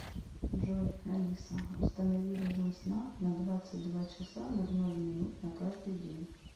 джой алиса установи режим сна на двадцать два часа ноль ноль минут на каждый день